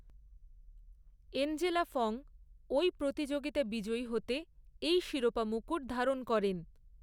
Angela Fong ঐ প্রতিযোগিতা বিজয়ী হতে এই শিরোপা মুকুট ধারণ করেন।